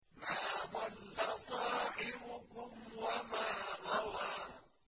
مَا ضَلَّ صَاحِبُكُمْ وَمَا غَوَىٰ